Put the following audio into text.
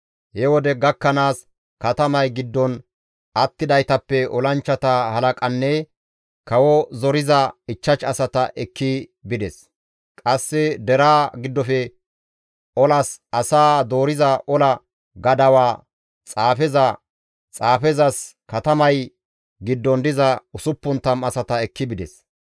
He wode gakkanaas katamay giddon attidaytappe olanchchata halaqanne kawo zoriza 5 asata ekki bides; qasse deraa giddofe olas asaa dooriza ola gadawaa xaafeza, xaafezas katamay giddon diza 60 asata ekki bides.